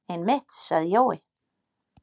Einmitt, sagði Jói.